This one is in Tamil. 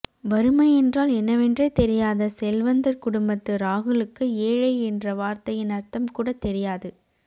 வறுமை என்றால் என்னவென்றே தெரியாத செல்வந்தர் குடும்பத்து ராகுலுக்கு ஏழை என்ற வார்த்தையின் அர்த்தம் கூட தெரியாது